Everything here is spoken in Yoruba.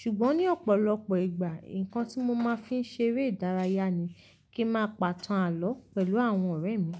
Ṣùgbọ́n ní ọ̀pọ̀lọpọ̀ ìgbà, nǹkan tí mo máa fi ń ṣe eré ìdárayá ni kí ń máa pàtán àló pẹ̀lú àwọn ọ̀rẹ́ mi.